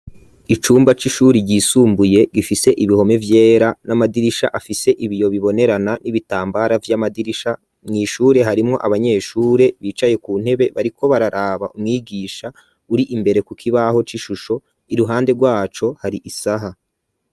Icumba, c'ishuri ryisumbuye, gifise ibihome vyera, n'amadirisha, afise ibiyo bibonerana, n'ibitambara vy'amadirisha; mw'ishure, harimwo abanyeshure, bicaye ku ntebe, bariko bararaba umwigisha, uri imbere ku kibaho, c'ishusho; iruhande rwaco hari isaha.